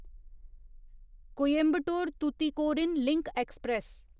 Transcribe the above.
Coimbatore Tuticorin link express